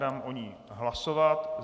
Dám o ní hlasovat.